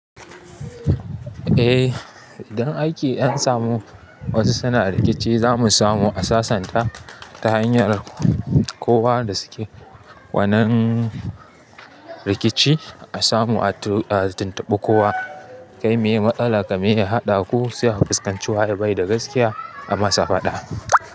Eh, idan aiki an samu wasu suna rikici, za mu samu a sassanta ta hanyar kowa da suke wannan rikici. A samu a tu a tuntubi kowa, kai meye matsalar, ka meye haɗa ku, se a fuskanci waye bai da gaskiya a masa faɗa.